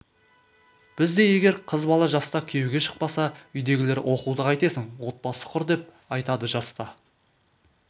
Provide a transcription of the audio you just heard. бізде егер қыз бала жаста күйеуге шықпаса үйдегілері оқуды қайтесің отбасы құр деп айтады жаста